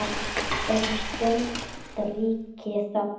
Um stund ríkir þögn.